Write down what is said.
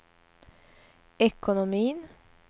ekonomin